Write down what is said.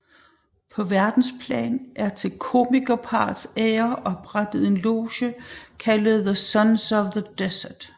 På verdensplan er til komikerparrets ære oprettet en loge kaldet The Sons of the Desert